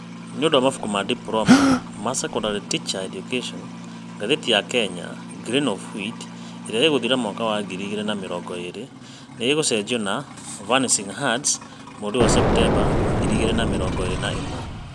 Na nĩ ũndũ wa mabuku ma Diploma in Secondary Teacher Education, ngathĩti ya Kenya 'Grain of Wheat ' ĩrĩa ĩgũthira mwaka wa ngiri igĩrĩ na mĩrongo ĩrĩ nĩ ĩgũcenjio na 'Vanishing Herds ' mweri wa Septemba ngiri igĩrĩ na mĩrongo ĩrĩ na ĩmwe.